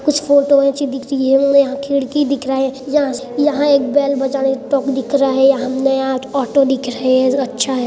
कुछ फोटोस अच्छी दिख रही है हमने यहाँ खिडकी दिख रही है य यहाँ एक बेल बजाने का टोक दिख रहा है यहाँ हमने आज एक ओटो दिख रहा है अच्छा है|